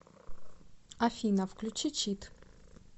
афина включи чит